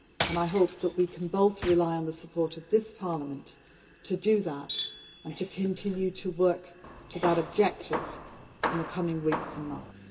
I hope that we can both rely on the support of this Parliament to do that and to continue to work to that objective in the coming weeks and months.